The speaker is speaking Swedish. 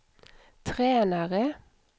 tränare